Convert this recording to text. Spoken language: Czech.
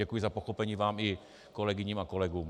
Děkuji za pochopení vám i kolegyním a kolegům.